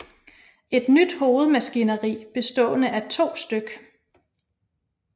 Et nyt hovedmaskineri bestående af 2 stk